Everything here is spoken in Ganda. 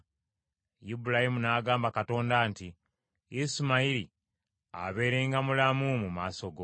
Ibulayimu n’agamba Katonda nti, “Isimayiri abeerenga mulamu mu maaso go!”